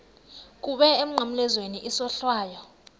kuwe emnqamlezweni isohlwayo